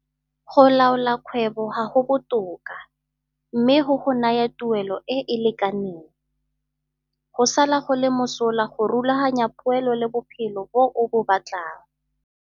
Go laola kgwebo ga go botoka, mme go go naya tuelo e e lekaneng. Go sala go le mosola go rulaganya poelo le bophelo bo o bo batlang.